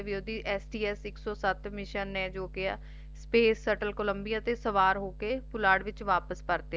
ਓਹਦੀ S T S ਇਕ ਸੋ ਸਤ ਮਿਸ਼ਨ ਨੇ Space Settle Columbia ਵਿੱਚ ਸਵਾਰ ਹੋਕੇ ਪੁਲਾੜ ਵਿਚ ਵਾਪਿਸ ਪਰਤਿਆ